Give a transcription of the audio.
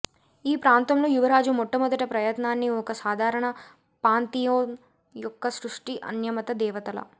ఈ ప్రాంతంలో యువరాజు మొట్టమొదటి ప్రయత్నాన్ని ఒక సాధారణ పాంథియోన్ యొక్క సృష్టి అన్యమత దేవతల